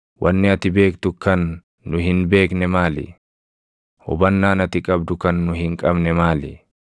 Wanni ati beektu kan nu hin beekne maali? Hubannaan ati qabdu kan nu hin qabne maali?